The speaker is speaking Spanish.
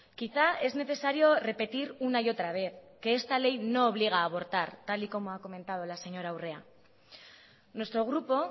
quizá es necesario repetir una y otra vez que esta ley no obliga a abortar tal y como ha comentado la señora urrea nuestro grupo